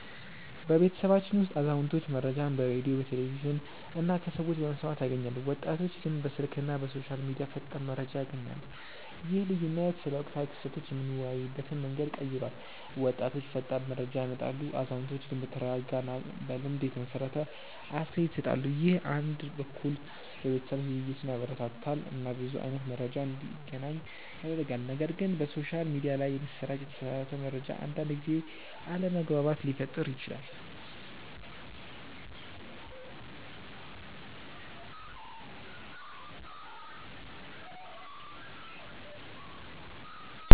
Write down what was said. በቤተሰባችን ውስጥ አዛውንቶች መረጃን በሬዲዮ፣ ቴሌቪዥን እና ከሰዎች በመስማት ያገኛሉ፣ ወጣቶች ግን በስልክ እና በሶሻል ሚዲያ ፈጣን መረጃ ያገኛሉ። ይህ ልዩነት ስለ ወቅታዊ ክስተቶች የምንወያይበትን መንገድ ቀይሯል፤ ወጣቶች ፈጣን መረጃ ያመጣሉ፣ አዛውንቶች ግን በተረጋጋ እና በልምድ የተመሰረተ አስተያየት ይሰጣሉ። ይህ አንድ በኩል የቤተሰብ ውይይትን ያበረታታል እና ብዙ አይነት መረጃ እንዲገናኝ ያደርጋል፣ ነገር ግን በሶሻል ሚዲያ ላይ የሚሰራጭ የተሳሳተ መረጃ አንዳንድ ጊዜ አለመግባባት ሊፈጥር ይችላል